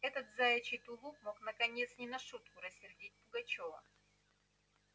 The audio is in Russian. этот заячий тулуп мог наконец не на шутку рассердить пугачёва